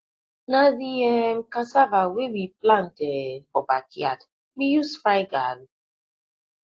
na the um cassava wey we plant um for backyard we use fry garri